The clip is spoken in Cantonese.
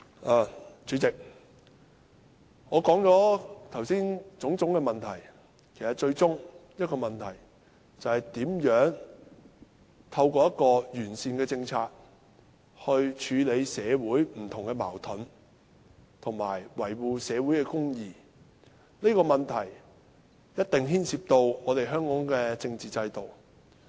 代理主席，我剛才指出種種問題，其實最終只有一個問題，就是如何透過完善的政策，處理社會上不同的矛盾，以及維護社會公義，這個問題一定牽涉香港的政治制度。